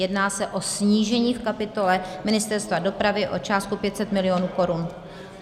Jedná se o snížení v kapitole Ministerstva dopravy o částku 500 mil. korun.